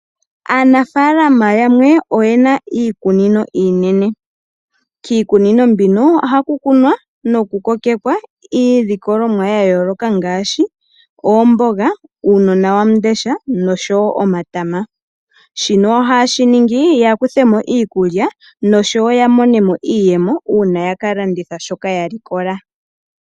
Aanafaalama yamwe oye na iikunino iinene kiikunino mbino ohaku kunwa nokukokekwa iilikolomwa ya yooloka ngaashi oomboga, uunawandesha noshowo omatama. Shino ohaye shi ningi ya kuthe mo iikulya noshowo ya mone mo iiyemo uuna ya kalanditha shoka ya likola.